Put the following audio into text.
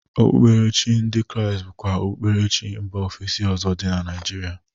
Okpukperechi ndị Kraịst bụkwa okpukperechi Mba ofesi ọzọ dị na Naijiria.